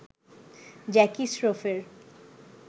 Jackie স্রফের